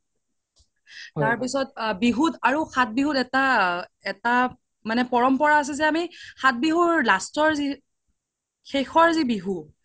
তাৰ পিছ্ত বিহুত সাত বিহুত এটা, এটা পৰম্পৰা আছে যে আমি সাত বিহুৰ last ৰ শেষৰ যি বিহু